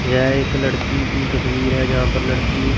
यह एक लड़की की तस्वीर है जहां पर लड़की--